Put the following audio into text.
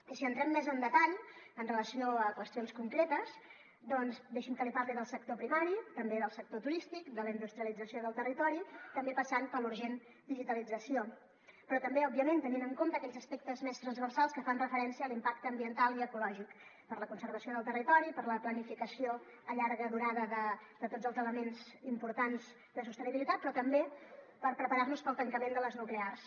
i si entrem més en detall amb relació a qüestions concretes doncs deixi’m que li parli del sector primari també del sector turístic de la industrialització del territori també passant per la urgent digitalització però també òbviament tenint en compte aquells aspectes més transversals que fan referència a l’impacte ambiental i ecològic per a la conservació del territori per a la planificació a llarg termini de tots els elements importants de sostenibilitat però també per preparar nos per al tancament de les nuclears